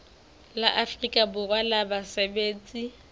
la afrika borwa la basebetsi